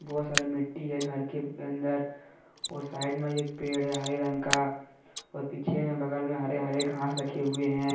बहोत सारी मिट्टी है घर के अंदर और साइड में एक पेड़ है हरे रंग का और पीछे में बगल में हरे हरे घास रखे हुए है।